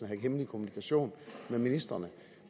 have hemmelig kommunikation med ministrene